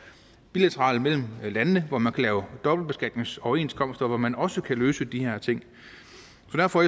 bilateralt mellem landene hvor man kan lave dobbeltbeskatningsoverenskomster og hvor man også kan løse de her ting